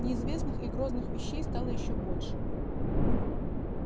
неизвестных и грозных вещей стало ещё больше